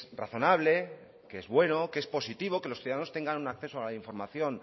razonable que es bueno que es positivo que los ciudadanos tengan un acceso a la información